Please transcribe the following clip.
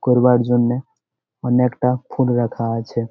করবার জন্যে অনেকটা ফুল রাখা আছে ।